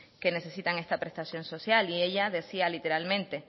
que necesitan esta prestación social y ella decía literalmente